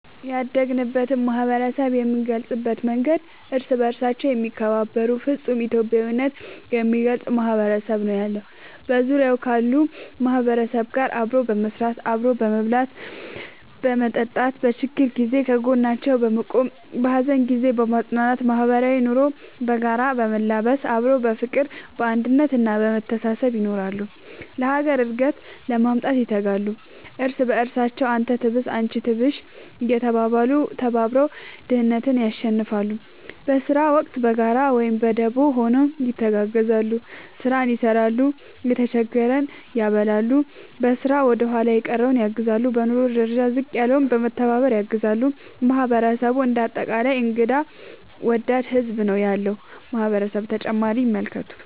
ያደግንበት ማህበረሰብ የምንገልፅበት መንገድ እርስ በርሳቸው የሚከባበሩ ፍፁም ኢትዮጵያዊነት የሚገልፅ ማህበረሰብ ነው ያለው። በዙሪያው ካሉ ማህበረሰብ ጋር አብሮ በመስራት፣ አብሮ በመብላትና በመጠጣት በችግር ጊዜ ከጎናቸው በመቆም በሀዘን ጊዜ በማፅናናት ማህበራዊ ኑሮ በጋራ በመላበስ አብሮ በፍቅር፣ በአንድነት እና በመተሳሰብ ይኖራሉ። ለሀገር እድገት ለማምጣት ይተጋሉ። እርስ በርሳቸው አንተ ትብስ አንቺ ትብሽ እየተባባሉ ተባብረው ድህነትን ያሸንፍለ። በስራ ወቅት በጋራ ወይም በደቦ ሆነው ይተጋገዛሉ ስራን ይሰራል የተጀገረን ያበላሉ፣ በስራ ወደኋላ የቀረን ያግዛሉ፣ በኑሮ ደረጃ ዝቅ ያለውን በመተባባር ያግዛሉ ማህበረሰቡ እንደ አጠቃላይ እንግዳ ወዳድ ህዝብ ነው ያለው ማህበረሰብ ።…ተጨማሪ ይመልከቱ